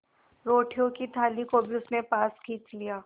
रोटियों की थाली को भी उसने पास खींच लिया